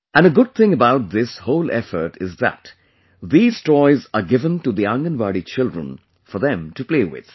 And a good thing about this whole effort is that these toys are given to the Anganwadi children for them to play with